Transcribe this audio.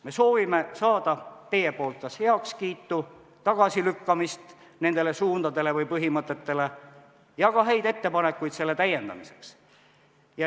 Me soovime saada kas teie heakskiitu või otsust nende suundade ja põhimõtete tagasilükkamise kohta ja ka häid ettepanekuid täiendamiseks.